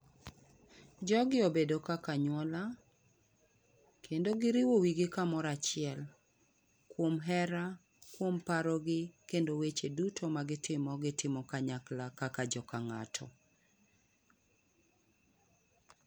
Jogi obedo kaka anyuola kendo giriwo wigi kamoro achiel kuom hera, kuom parogi kendo weche duto magitimo, gitimo kanyakla kaka joka ng'ato.